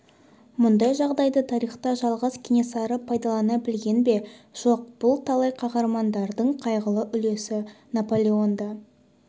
мұндай жағдайды тарихта жалғыз кенесары пайдалана білген бе жоқ бұл талай қаһармандардың қайғылы үлесі наполеон да